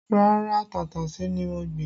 Rárá, tàtàṣé ni mo gbìn